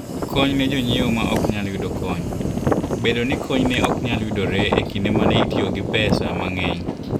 Kony ne Jonyiewo ma Ok Nyal Yudo Kony: Bedo ni kony ne ok nyal yudore e kinde ma ne itiyo gi pesa mang'eny.